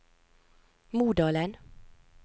Modalen